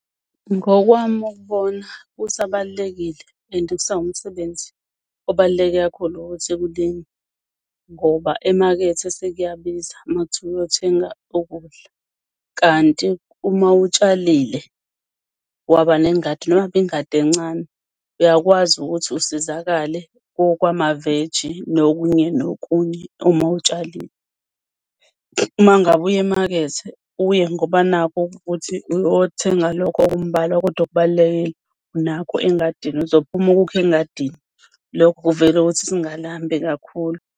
Ngokwami ukubona kusabalulekile and kusawumsebenzi obaluleke kakhulu ukuthi kulinywe, ngoba emakethe sekuyabiza. Uma kuthiwa uyothenga ukudla, kanti uma utshalile waba nengadi noma kuyingadi encane, uyakwazi ukuthi usizakale kwamaveji nokunye nokunye uma utshalile. Uma ngabe uya emakethe uye ngoba nakhu kuthi uyothenga lokho okumbalwa kodwa okubalulekile, nakho engadini uzophuma ukukhe engadini. Lokho kuvele kuthi singalambi kakhulu.